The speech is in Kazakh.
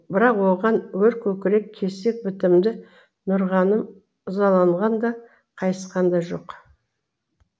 бірақ оған өр көкірек кесек бітімді нұрғаным ызаланған да қайысқан да жоқ